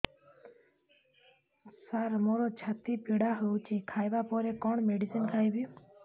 ସାର ମୋର ଛାତି ପୀଡା ହଉଚି ଖାଇବା ପରେ କଣ ମେଡିସିନ ଖାଇବି